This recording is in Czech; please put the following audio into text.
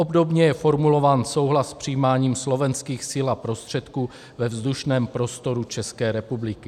Obdobně je formulován souhlas s přijímáním slovenských sil a prostředků ve vzdušném prostoru České republiky.